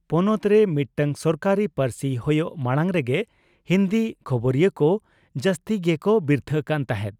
ᱯᱚᱱᱚᱛ ᱨᱮ ᱢᱤᱫᱴᱟᱝ ᱥᱚᱨᱠᱟᱨᱤ ᱯᱟᱹᱨᱥᱤ ᱦᱳᱭᱳᱜ ᱢᱟᱲᱟᱝ ᱨᱮᱜᱮ ᱦᱤᱱᱫᱤ ᱠᱷᱚᱵᱚᱨᱤᱭᱟᱹ ᱠᱚ ᱡᱟᱥᱛᱤ ᱜᱮ ᱠᱚ ᱵᱤᱨᱛᱷᱟᱹ ᱠᱟᱱ ᱛᱟᱦᱮᱸᱫ ᱾